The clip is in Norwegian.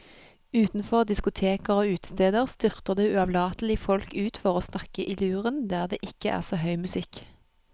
Utenfor diskoteker og utesteder styrter det uavlatelig folk ut for å snakke i luren der det ikke er så høy musikk.